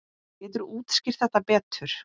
Geturðu útskýrt þetta betur?